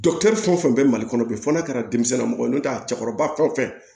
fɛn o fɛn bɛ mali kɔnɔ bi fɔ n'a kɛra denmisɛnnin namɔgɔ ye n'o tɛ cɛkɔrɔba fɛn o fɛn